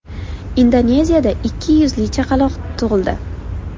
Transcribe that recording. Indoneziyada ikki yuzli chaqaloq tug‘ildi .